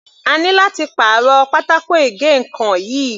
A ní láti pàrọ̀ pátákó ìgé ǹkan yìí.